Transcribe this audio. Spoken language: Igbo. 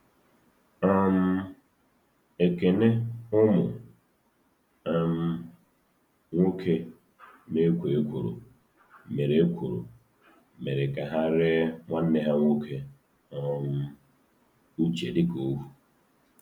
um Ekene ụmụ um nwoke na-ekwo ekworo mere ekworo mere ka ha ree nwanne ha nwoke um Uche dị ka ohu.